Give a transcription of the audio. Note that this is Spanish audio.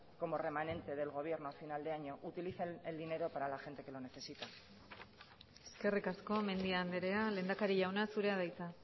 como remanente del gobierno a final de año utilicen el dinero para la gente que lo necesita eskerrik asko mendia andrea lehendakari jauna zurea da hitza